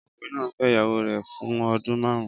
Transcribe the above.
Ọkùnrin náà fẹ́ ìyàwó rẹ̀ fún ọdún márùn-ún